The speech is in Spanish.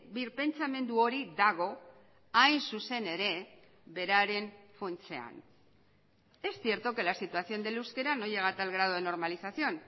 birpentsamendu hori dago hain zuzen ere beraren funtsean es cierto que la situación del euskera no llega a tal grado de normalización